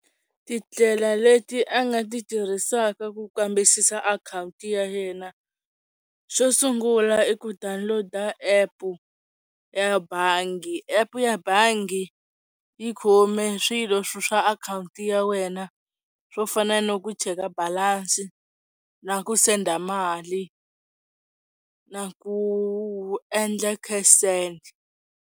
Tindlela leti a nga ti tirhisaka ku kambisisa akhawunti ya yena xo sungula i ku downloader app ya bangi epu ya bangi yi khome swilo swa akhawunti ya wena swo fana ni ku cheka balance, na ku send a mali, na ku endla cash send.